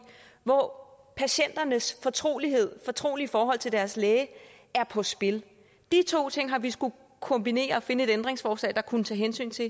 hvor patienternes fortrolighed fortrolige forhold til deres læge er på spil de to ting har vi skullet kombinere og finde et ændringsforslag der kunne tage hensyn til